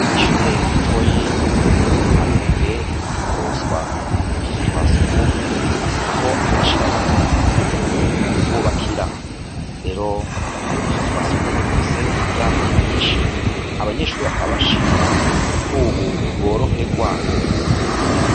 Ishure ritoyi ryo mu kamenge riherutse kuroswa butusu twa sugumwe aho harishirahamwe riherutse kububakira rero nusu twa sugumwe dufise imiryango myinshi abanyeshuri bakaba bashima ko, ubu boroherwa.